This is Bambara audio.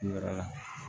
Yɔrɔ la